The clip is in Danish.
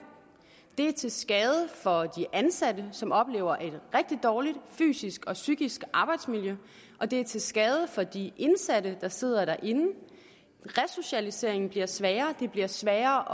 det er til skade for de ansatte som oplever et rigtig dårligt fysisk og psykisk arbejdsmiljø og det er til skade for de indsatte der sidder derinde resocialiseringen bliver sværere det bliver sværere